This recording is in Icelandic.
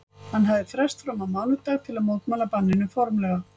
Hann hafði frest fram á mánudag til að mótmæla banninu formlega.